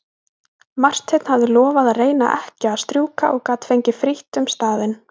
Marteinn hafði lofað að reyna ekki að strjúka og gat gengið frítt um staðinn.